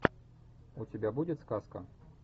у тебя будет сказка